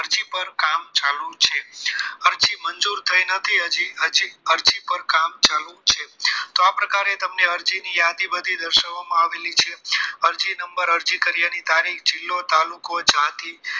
અરજી મંજૂર થઈ નથી હજુ હજુ અરજી ઉપર કામ ચાલુ છે તો આ પ્રકારે તમને અરજી ની યાદી બધી દર્શાવવામાં આવેલી છે અરજી નંબર અરજી કર્યા ની તારીખ જીલ્લો તાલુકો જાતી